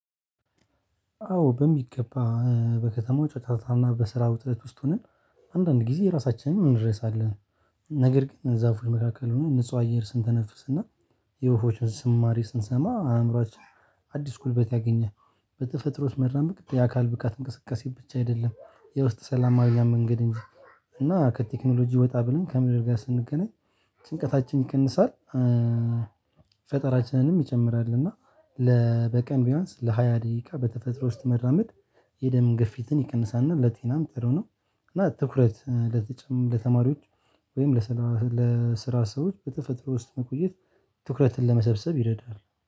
አዎ በሚገባ በከተማው ጨጫታና በስራ ውጥረት ውስጥ ሆነን አንዳንድ ጊዜ ራሳችንን እንረሳለን። ነገር ግን እዛ ፉል መካከል ሆነ ንጹህ አየር ስንተነፍስና የወፎችን ዝማረ ስንሰማ አእምሮአችን አዲስ ጉልበት ያገኛል። በተፈጥሮ ውስጥ መራመድ የአካል ብቃት እንቅስቃሴ ብቻ አይደለም የውስጥ ሰላም ማግኛ መንገድ እንጂ እና ከቴክኖሎጂ ወጣ ብለን ከምድር ጋር ስንገናኝ ጭንቀታችን ይቀንሳል። ፈጠራችንንም ይጨምራል እና ለ በቀን ቢያንስ ለሃያ ደቂቃ በተፈጥሮ ውስጥ መራመድ የደም ግፊትን ይቀንሳልና ለጤናም ጥሩ ነው። እና ትኩረት ለተማሪዎች ወይም ለስራ ሰዎች በተፈጥሮ ውስጥ መቆየት ትኩረትን ለመሰብሰብ ይረዳል